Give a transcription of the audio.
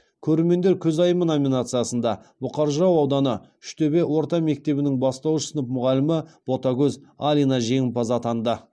көрермендер көзайымы номинациясында бұқар жырау ауданы үштөбе орта мектебінің бастауыш сынып мұғалімі ботагөз алина жеңімпаз атанды